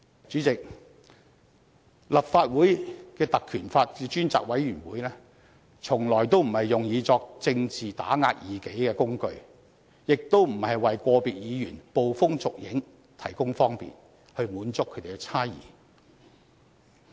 主席，立法會的《條例》及專責委員會從來都不是用作政治打壓異己的工具，亦不是為個別議員捕風捉影提供方便，以滿足他們的猜疑。